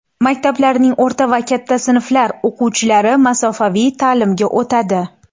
Maktablarning o‘rta va katta sinflar o‘quvchilari masofaviy ta’limga o‘tadi.